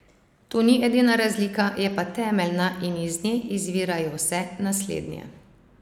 To ni edina razlika, je pa temeljna in iz nje izvirajo vse naslednje.